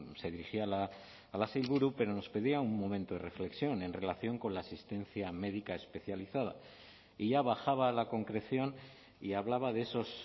se dirigía a la sailburu pero nos pedía un momento de reflexión en relación con la asistencia médica especializada y ya bajaba a la concreción y hablaba de esos